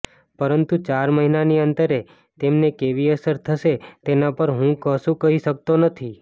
પરંતુ ચાર મહિનાના અંતરે તેમને કેવી અસર થશે તેના પર હું કશું કહી શકતો નથી